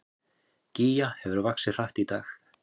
Gígja hefur vaxið hratt í dag